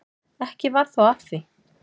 Ekki varð þó af því.